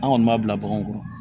An kɔni b'a bila baganw kɔrɔ